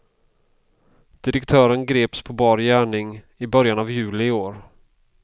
Direktören greps på bar gärning i början av juli i år.